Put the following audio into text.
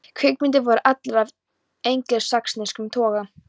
Kvikmyndir voru allar af engilsaxneskum toga.